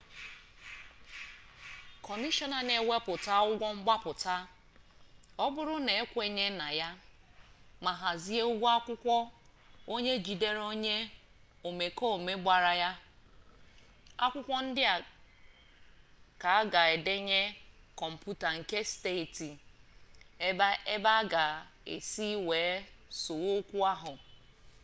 kọmishọna na ewepụta ụgwọ mgbapụta ọbụrụ na ekwenye na ya ma hazie ụgwọ akwụkwọ onye jidere onye omekome gbara ya akwụkwọ ndị a ka a ga edenye kọmputa nke steeti ebe aga-esi wee sowe okwu ahụ